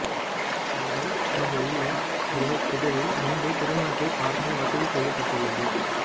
அவர்கள் இங்குள்ள ஒரு திடலில் நின்று திருமணத்தை பார்க்க வசதி செய்யப்பட்டிருந்தது